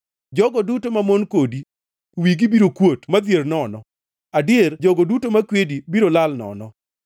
“Jogo duto mamon kodi wigi biro kuot ma dhier nono, adier jogo duto makwedi biro lal nono.